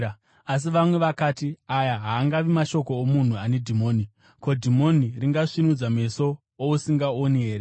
Asi vamwe vakati, “Aya haangavi mashoko omunhu ane dhimoni. Ko, dhimoni ringasvinudza meso ousingaoni here?”